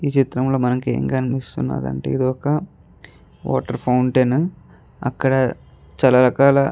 ఈ చిత్రం లో మనకి ఎం కనిపిస్తునది అంటే ఇది ఒక వాటర్ ఫౌంటెన్ అక్కడ చాల రకాల --